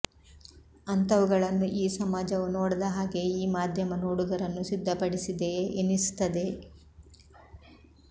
ಅಂತವುಗಳನ್ನು ಈ ಸಮಾಜವು ನೋಡದ ಹಾಗೆಯೇ ಈ ಮಾಧ್ಯಮ ನೋಡುಗರನ್ನು ಸಿದ್ಧಪಡಿಸಿದೆಯೇ ಎನಿಸುತ್ತದೆ